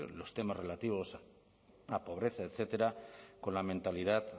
los temas relativos a pobreza etcétera con la mentalidad